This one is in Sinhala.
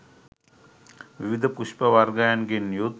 විවිධ පුෂ්ප වර්ගයන්ගෙන් යුත්